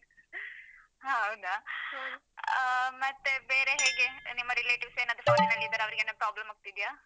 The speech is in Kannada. ಹ ಹೌದಾ? ಹ ಮತ್ತೆ ಬೇರೆ ಹೇಗೆ ನಿಮ್ಮ relatives ಏನಾದ್ರೂ foreign ನಲ್ಲಿದ್ದಾರಾ? ಅವ್ರಿಗೆ ಏನಾದ್ರು problem ಆಗ್ತಿದ್ಯಾ?